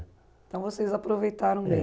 Então vocês aproveitaram dele. É